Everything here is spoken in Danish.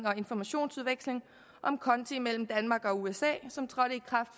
og informationsudveksling om konti imellem danmark og usa som trådte i kraft